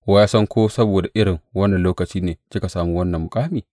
Wa ya san ko saboda irin wannan lokaci ne kika sami wannan muƙami?